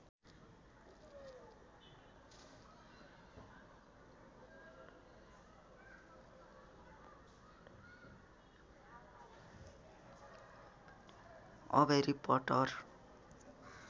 a भेरि पट्टर